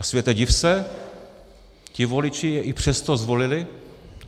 A světe div se, ti voliči je i přesto zvolili.